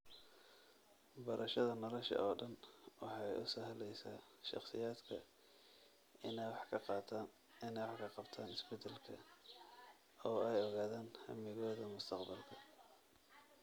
Barashada nolosha oo dhan waxay u sahlaysa shakhsiyaadka inay wax ka qabtaan isbeddelka oo ay ogaadaan hammigooda mustaqbalka.